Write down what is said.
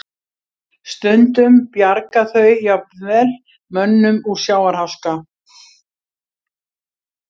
Stundum bjarga þau jafnvel mönnum úr sjávarháska.